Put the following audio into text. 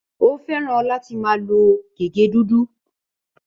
Ó fẹ́ràn láti máa lo gègé dúdú.